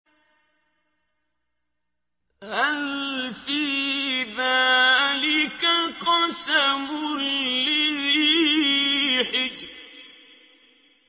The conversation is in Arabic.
هَلْ فِي ذَٰلِكَ قَسَمٌ لِّذِي حِجْرٍ